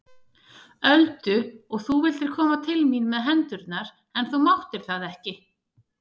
Öldu og þú vildir koma til mín með hendurnar en þú máttir það ekki.